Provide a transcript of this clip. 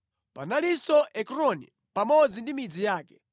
Panalinso Ekroni pamodzi ndi midzi yake;